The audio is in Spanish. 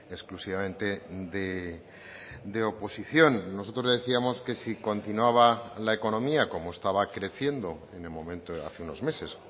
exclusivamente de oposición nosotros le decíamos que si continuaba la economía como estaba creciendo en el momento hace unos meses